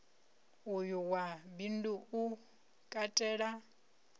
uyu wa bindu u katela